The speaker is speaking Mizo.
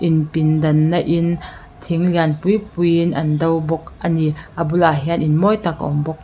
in pin dan na in thil lian pui pui in an do bawk a ni bulah hian in mawi tak a awm bawk.